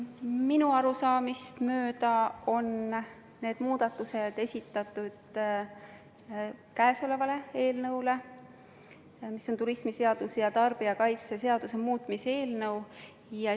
Minu arusaamist mööda on need muudatused esitatud käesoleva eelnõu kohta, mis on siis turismiseaduse ja tarbijakaitseseaduse muutmise seaduse eelnõu.